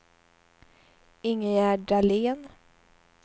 Ingegerd Dahlén